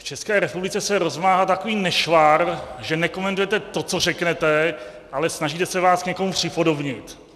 V České republice se rozmáhá takový nešvar, že nekomentujete to, co řeknete, ale snažíte se vás k někomu připodobnit.